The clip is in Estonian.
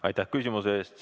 Aitäh küsimuse eest!